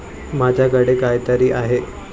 माझ्याकडे काहीतरी आहे.